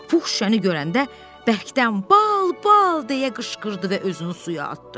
Pux şüşəni görəndə bərkdən bal, bal deyə qışqırdı və özünü suya atdı.